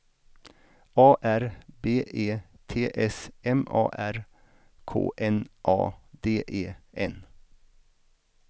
A R B E T S M A R K N A D E N